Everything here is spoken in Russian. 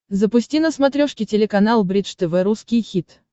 запусти на смотрешке телеканал бридж тв русский хит